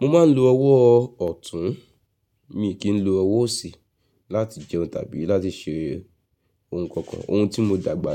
Mo máa ń lo ọwọ́ ọ̀tún mi kì í lo ọwọ́ òsì láti jẹun tàbí láti ṣe ohun kankan. Ohun tí mo dàgbà